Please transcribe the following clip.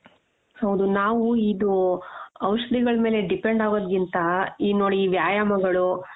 ಹೌದು ನಾವು ಇದು ಔಷಧಿಗಳ ಮೇಲೆ depend ಆಗೋದ್ಗಿಂತ ಈ ನೋಡಿ ಈ ವ್ಯಾಯಾಮಗಳು .